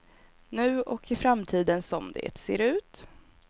Nu och i framtiden, som det ser ut.